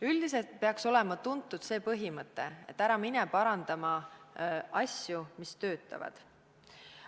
Üldiselt peaks olema tuntud see põhimõte, et ära mine parandama asju, mis töötavad.